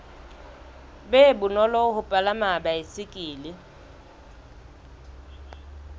be bonolo ho palama baesekele